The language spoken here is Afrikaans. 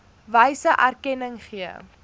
wyse erkenning gee